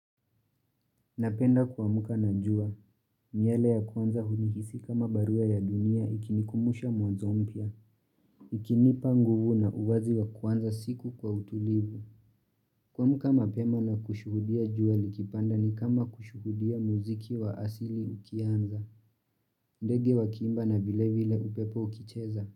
Napenda kuamka na jua, nywele ya kwanza hunihisi kama barua ya dunia ikinikumusha mwazo mpya, ikinipa nguvu na uwazi wa kwanza siku kwa utulivu. Kuamka mapema na kushuhudia jua likipanda ni kama kushuhudia muziki wa asili ukianza, ndege wa kiimba na vile vile upepo ukicheza.